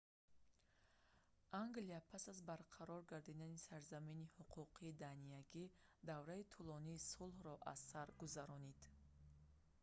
англия пас аз барқарор гардидани сарзамини ҳуқуқи даниягӣ давраи тӯлонии сулҳро аз сар гузаронид